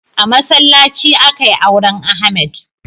A masallaci akai auren Ahmad.